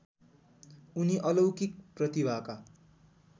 उनी अलौकिक प्रतिभाका